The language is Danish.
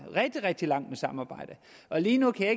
rigtig rigtig langt med samarbejde lige nu kan